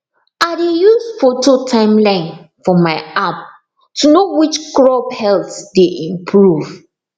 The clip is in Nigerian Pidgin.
i dey use photo timeline for my app to know which crop health dey improve